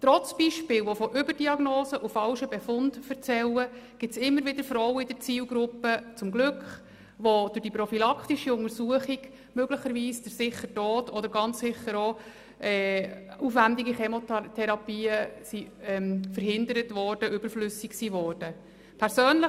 Trotz Beispielen, die von Überdiagnosen und falschen Befunden erzählen, gibt es zum Glück immer wieder Frauen in der Zielgruppe, bei denen durch die prophylaktische Untersuchung möglicherweise der sichere Tod oder eine aufwendige Chemotherapie verhindert werden konnte.